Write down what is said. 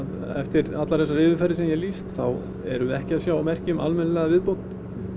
eftir allar þessar yfirferðir sem ég hef lýst þá erum við ekki að sjá merki um almennilega viðbót